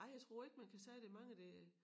Nej jeg tror ikke man kan sige der mange der